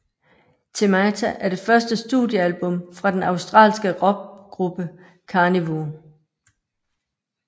Themata er det første studiealbum fra den australske rockgruppe Karnivool